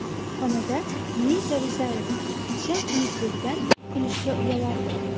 Xonanda Munisa Rizayeva: Tishim xunukligidan kulishga uyalardim.